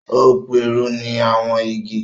o piruni àwọn igi.